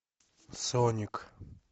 соник